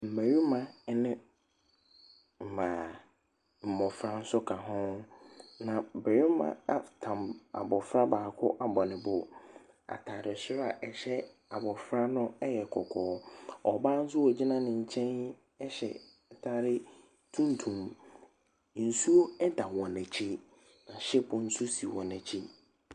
Mmɛrima ɛne mmaa, mmofra nso ka ho. Na bɛrima atam abofra baako abɔ ne bo. Ataade soro a ɛhyɛ abofra no ɛyɛ kɔkɔɔ. Ɔbaa nso a ogyina ne nkyɛn ɛhyɛ ataare tuntum. Nsuo ɛda wɔn akyi. Na shipo nso si wɔn akyi.